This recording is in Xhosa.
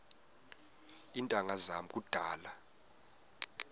iintanga zam kudala